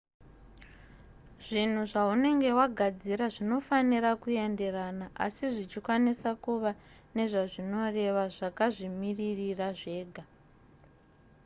zvinhu zvaunenge wagadzira zvinofanira kuenderana asi zvichikwanisa kuva nezvazvinoreva zvakazvimirira zvega